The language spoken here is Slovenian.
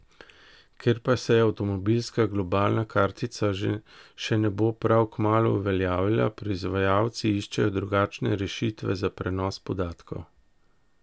Ker pa se avtomobilska globalna kartica še ne bo prav kmalu uveljavila, proizvajalci iščejo drugačne rešitve za prenos podatkov.